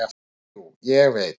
"""Og jú, ég veit."""